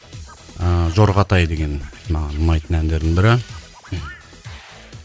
ыыы жорғатай деген маған ұнайтын әндердің бірі